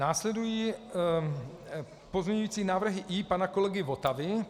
Následují pozměňující návrhy I pana kolegy Votavy.